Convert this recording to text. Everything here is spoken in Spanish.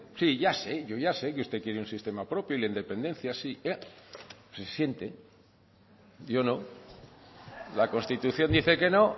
si ya sé yo ya sé que usted quiere un sistema propio y la independencia sí se siente yo no la constitución dice que no